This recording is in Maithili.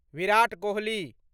विराट कोहली